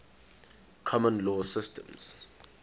common law systems